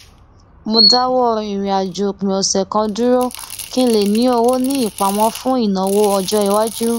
mo dáwọ ìràinàjò òpin ọsẹ kan dúró kí n lè ní owó ní ìpamọ fún ìnáwọ ọjọiwájú